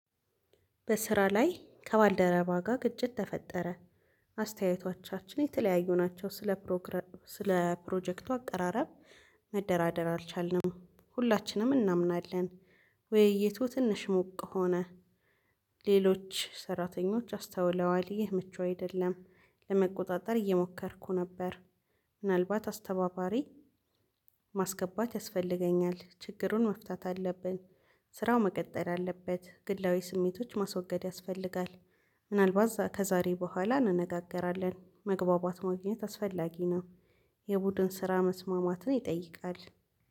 በስራ ላይ ከባልደረባ ጋር ግጭት ተፈጠረ። አስተያየቶቻችን የተለያዩ ናቸው ስለ ፕሮግራም ስለ ፕሮጀክቱ አቀራረብ መደራደር አልቻልንም። ሁላችንም እናምናለን ወይ የቱ ትንሽ ሞቅ ሆነ። ሌሎች ሰራተኞች አስተውለዋል ይህ ምቹ አይደለም። ለመቆጣጠር እየሞከርኩ ነበር። ምናልባት አስተባባሪ ማስገባት ያስፈልገኛል ችግሩን መፍታት አለብን። ስራው መቀጠል አለበት ግላዊ ስሜቶች ማስወገድ ያስፈልጋል። ምናልባት ከዛሬ በኋላ እንነጋገራለን መግባባት ማግኘት አስፈላጊ ነው። የቡድን ስራ መስማማትን ይጠይቃል።